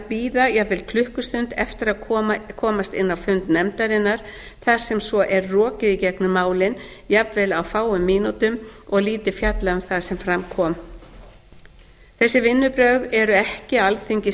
bíða jafnvel klukkustund eftir að komast inn á fund nefndarinnar þar sem svo er rokið i gegnum málin jafnvel á fáum mínútum og lítið fjallað um það sem fram kom þessi vinnubrögð eru ekki alþingi